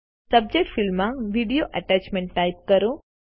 subject field માં video attachment type કરો